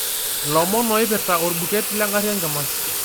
ilomon oipirta orbuket lengari enkima